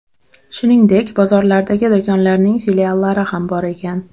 Shuningdek, bozorlardagi do‘konlarning filiallari ham bor ekan.